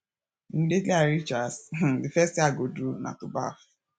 immediately i reach house um the first thing i go do na to baff